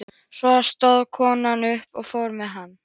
Svo stóð konan upp og fór fram.